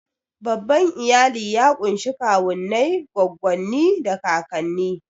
Babban iyali ya ƙunshi kawunnai, goggonni, da kakanni.